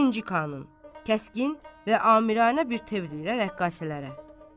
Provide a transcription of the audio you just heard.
Birinci Kanun kəskin və amiranə bir təvrlə rəqqasələrə.